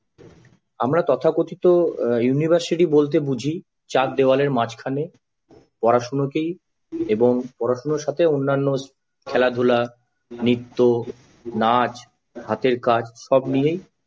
আমরা তথাকথিত university বলতে বুঝি চার দেয়ালের মাঝখানে পড়াশোনাকেই এবং পড়াশোনার সাথে অন্যান্য খেলাধুলা নৃত্য নাচ হাতের কাজ সব নিয়ে সব নিয়েই